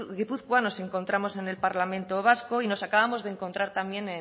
gipuzkoa nos encontramos en el parlamento vasco y nos acabamos de encontrar también